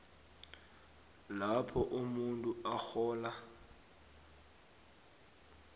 lapho umuntu arhola